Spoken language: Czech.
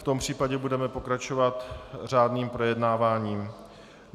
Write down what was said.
V tom případě budeme pokračovat řádným projednáváním.